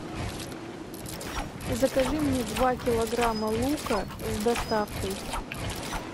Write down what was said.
закажи мне два килограмма лука с доставкой